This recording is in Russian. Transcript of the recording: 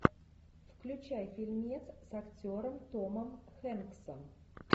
включай фильмец с актером томом хэнксом